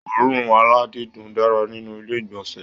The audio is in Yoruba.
Oòrùn aladidun dára nínú ilé igbọnsẹ.